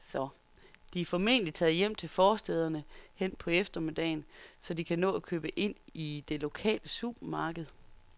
De er formentlig taget hjem til forstæderne hen på eftermiddagen, så de kan nå at købe ind i det lokale supermarked.